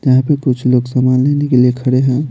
यहां पे कुछ लोग सामान लेने के लिए खड़े हैं।